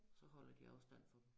Så holder de afstand for